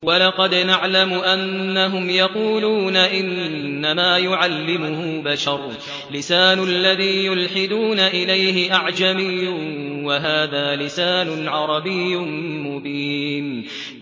وَلَقَدْ نَعْلَمُ أَنَّهُمْ يَقُولُونَ إِنَّمَا يُعَلِّمُهُ بَشَرٌ ۗ لِّسَانُ الَّذِي يُلْحِدُونَ إِلَيْهِ أَعْجَمِيٌّ وَهَٰذَا لِسَانٌ عَرَبِيٌّ مُّبِينٌ